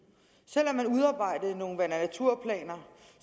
selv om man udarbejdede nogle vand og naturplaner